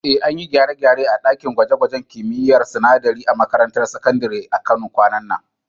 Eh, an yi gyare-gyare a ɗakin gwaje-gwajen kimiyyar sinadarai a makarantar sakandare ta Kano kwanan nan.